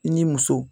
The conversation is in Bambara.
I ni muso